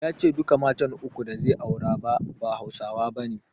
Ya ce duka matan uku da zai aura ba, ba Hausawa bane.